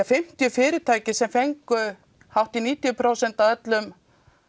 fimmtíu fyrirtæki sem fengu hátt í níutíu prósent af öllum